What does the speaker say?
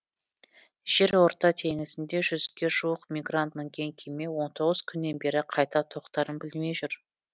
жерорта теңізінде жүзге жуық мигрант мінген кеме он тоғыз күннен бері қайда тоқтарын білмей жүр